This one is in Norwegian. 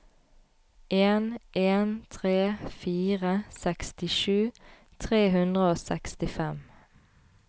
en en tre fire sekstisju tre hundre og sekstifem